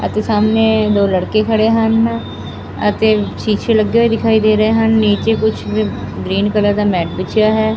ਅਤੇ ਸਾਹਮਣ ਦੋ ਲੜਕੇ ਖੜੇ ਹਨ ਅਤੇ ਸ਼ੀਸ਼ੇ ਲੱਗੇ ਹੋਏ ਦਿਖਾਈ ਦੇ ਰਹੇ ਹਨ ਨੀਚੇ ਕੁਝ ਗਰੀਨ ਕਲਰ ਦਾ ਮੈ ਵਿਛਿਆ ਹੈ।